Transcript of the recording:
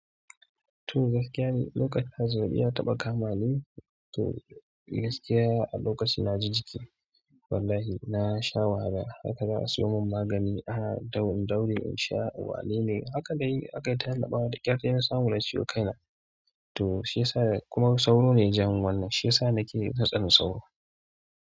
To gaskiya ne, lokacin hazo ya taɓa kama ni. To gaskiya a lokacin na ji jiki. Wallahi nasha wahala, haka za'a suyomin magani a'a, in daure in daure in sha. Wanene haka dai aka yi, aka yi tanada da ƙyaftin ya samu lasiko kaina. To shi ya sa kuma sauro ne jan wannan. Shi ya sa nake na tsani sauro.